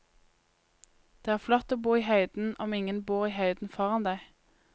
Det er flott å bo i høyden om ingen bor i høyden foran deg.